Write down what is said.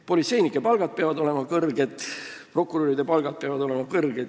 Politseinike palgad peavad olema kõrged ja prokuröride palgad peavad olema kõrged.